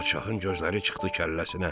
Padşahın gözləri çıxdı kəlləsinə.